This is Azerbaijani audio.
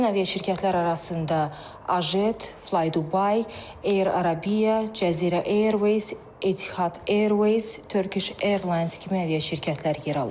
Həmin aviaşirkətlər arasında Azet, FlyDubai, Air Arabia, Cəzirə Airways, Etihad Airways, Turkish Airlines kimi aviaşirkətlər yer alır.